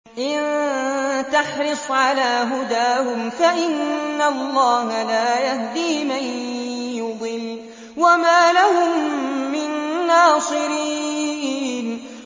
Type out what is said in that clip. إِن تَحْرِصْ عَلَىٰ هُدَاهُمْ فَإِنَّ اللَّهَ لَا يَهْدِي مَن يُضِلُّ ۖ وَمَا لَهُم مِّن نَّاصِرِينَ